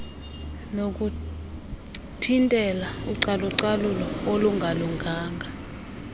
nokuthintela ucalucalulo olungalunganga